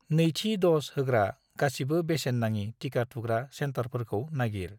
नैथि द'ज होग्रा गासिबो बेसेन नाङि टिका थुग्रा सेन्टारफोरखौ नागिर।